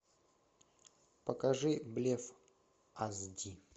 покажи блеф аш ди